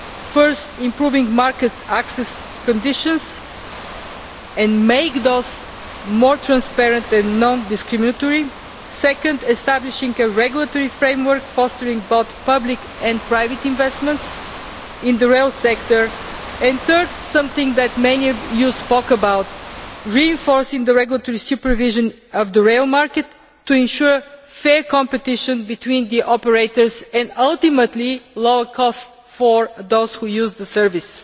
Firstly, improving market access conditions and making them more transparent and non discriminatory, secondly, establishing a regulatory framework, fostering both public and private investments in the rail sector and, thirdly something that many of you spoke about reinforcing the regulatory supervision of the rail market to ensure fair competition between the operators and, ultimately, lower costs for those who use the service.